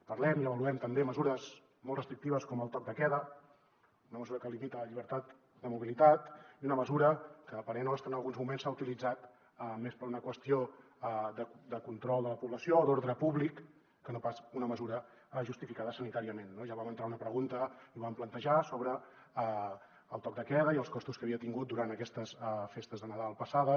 parlem i avaluem també mesures molt restrictives com el toc de queda una mesura que limita la llibertat de mobilitat i una mesura que a parer nostre en alguns moments s’ha utilitzat més per una qüestió de control de la població o d’ordre públic que no pas com una mesura justificada sanitàriament no ja vam entrar una pregunta i ho vam plantejar sobre el toc de queda i els costos que havia tingut durant aquestes festes de nadal passades